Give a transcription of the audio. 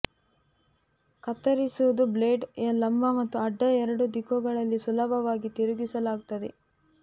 ಕತ್ತರಿಸುವುದು ಬ್ಲೇಡ್ ಲಂಬ ಮತ್ತು ಅಡ್ಡ ಎರಡೂ ದಿಕ್ಕುಗಳಲ್ಲಿ ಸುಲಭವಾಗಿ ತಿರುಗಿಸಲಾಗುತ್ತದೆ